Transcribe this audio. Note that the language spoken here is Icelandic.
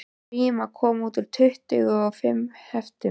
Gríma kom út í tuttugu og fimm heftum